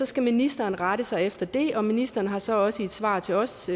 skal ministeren rette sig efter det og ministeren har så også i et svar til os